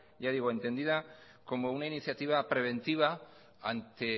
entendida como una iniciativa preventiva ante